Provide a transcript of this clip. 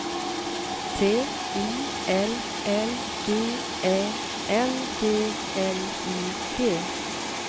T I L L G Ä N G L I G